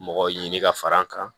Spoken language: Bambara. Mɔgɔ ɲini ka far'an kan